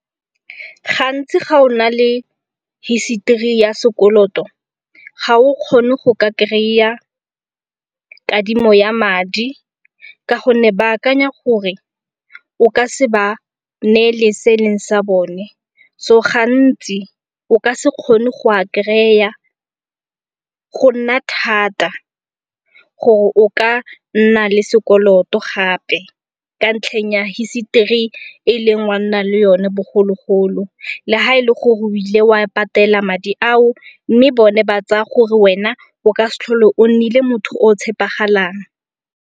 Gantsi ga o na le history ya sekoloto ga o kgone go ka kry-a kadimo ya madi ka gonne ba akanya gore o ka se ba neele se e leng sa bone. So gantsi o ka se kgone go a kry-a, go nna thata gore o ka nna le sekoloto gape ka ntlheng ya history e ileng wa nna le yone bogologolo. Le ga e le gore o ile wa patela madi ao mme bone ba tsaya gore wena o ka se tlhole o nnile motho o tshepegalang.